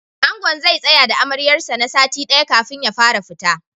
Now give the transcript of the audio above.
Angon zai tsaya da Amaryar sa na sati ɗaya kafin ya fara fita.